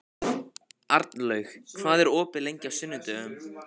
Arnlaug, hvað er opið lengi á sunnudaginn?